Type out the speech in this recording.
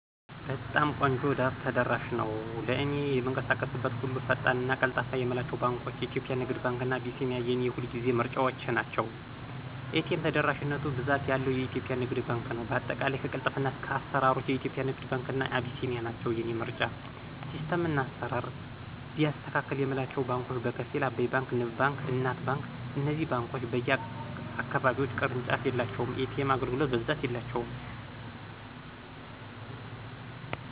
በጣም ቆንጆ ተደራሽ ነው። ለእኔ በምንቀሳቀስበት ሁሉ ፈጣን እና ቀልጣፋ የምላቸው ባንኳች :- ኢትዮጵያ ንግድ ባንክ እና አቢሲኒያ የኔ የሁልጊዜ ምርጫዎቸ ናቸው። ኤ.ቴ.ም ተደራሽነቱ ብዛት ያለው ኢትዮጵያ ንግድ ባንክ ነው በአጠቃላይ ከቅልጥፍና እስከ አስራሮች ኢትዮጵያ ንግድ ባንክ እና አቢሲኒያ ናቸው የኔ ምርጫ። ሲስተም እና አስራር ቢያስተካክል የምላቸው ባንኮች በከፊል። አባይ ባንክ; ንብ ባንክ: እናት ባንክ እነዚህ ባንኮች በየ አካባቢዎች ቅርንጫፍ የላቸውም። የኤ.ቴም አገልግሎት በብዛት የላቸውም